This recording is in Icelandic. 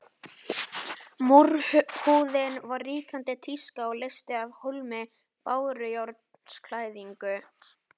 Múrhúðun var ríkjandi tíska og leysti af hólmi bárujárnsklæðningu.